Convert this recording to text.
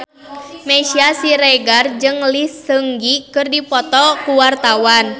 Meisya Siregar jeung Lee Seung Gi keur dipoto ku wartawan